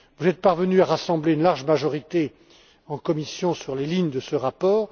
Vous êtes parvenus à rassembler une large majorité en commission sur les lignes de ce rapport.